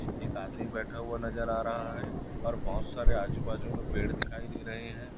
एक आदमी बैठा हुआ नजर आ रहा है और बहुत सारे आजू बाजू में पेड़ दिखाई दे रहे हैं।